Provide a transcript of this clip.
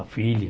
A filha.